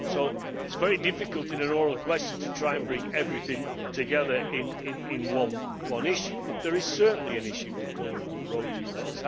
It is very diffficult in an oral question to try and bring everything together in one issue, but there is certainly an issue with vulnerable road users.